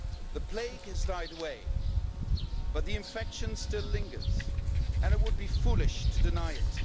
The plague has died away, but the infection still lingers and it would be foolish to deny it.